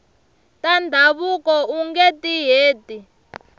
ta ndhavuko ungeti heti